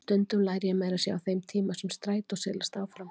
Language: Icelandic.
Stundum læri ég meira að segja á þeim tíma sem strætó silast áfram.